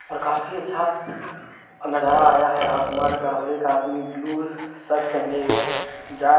और काफी अच्छा नजारा आया है आसमान का और एक आदमी ब्लू शर्ट पहने हुए जा--